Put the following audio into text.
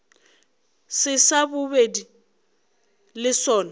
se sa bobedi le sona